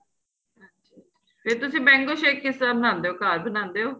ਫ਼ੇਰ ਤੁਸੀਂ mango shake ਕਿਸ ਤ੍ਹਰਾਂ ਬਣਾਉਦੇ ਹੋ ਘਰ ਬਣਾਉਦੇ ਹੋ